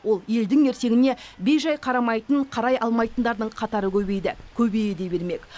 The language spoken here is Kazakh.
ол елдің ертеңіне бей жай қарамайтын қарай алмайтындардың қатары көбейді көбейе де бермек